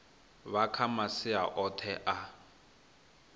bva kha masia oṱhe a